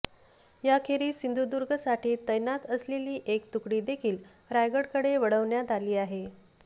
याखेरीज सिंधुदुर्गसाठी तैनात असलेली एक तुकडीदेखील रायगडकडे वळविण्यात आली आहे